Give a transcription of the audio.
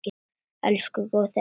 Elsku góði afi okkar.